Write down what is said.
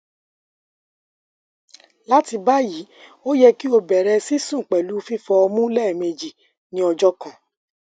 lati bayi o yẹ ki o bẹrẹ sisun pẹlu fifọ ọmu lẹmeji ni ọjọ kan